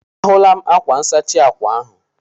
A hụla m ákwá nsachi ákwà ahụ.